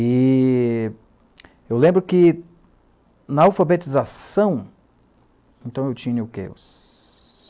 E eu lembro que na alfabetização, então eu tinha o quê?